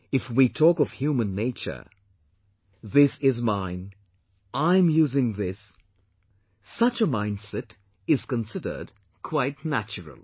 If we talk of human nature, 'this is mine', 'I am using this' such a mindset is considered quite natural